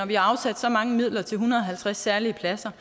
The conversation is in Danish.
vi har afsat så mange midler til en hundrede og halvtreds særlige pladser